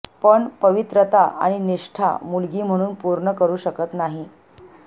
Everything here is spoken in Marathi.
पण पवित्रता आणि निष्ठा मुलगी म्हणून पूर्ण करू शकत नाही